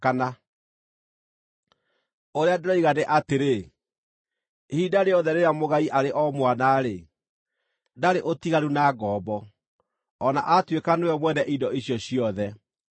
Ũrĩa ndĩroiga nĩ atĩrĩ, ihinda rĩothe rĩrĩa mũgai arĩ o mwana-rĩ, ndarĩ ũtiganu na ngombo, o na atuĩka nĩwe mwene indo icio ciothe.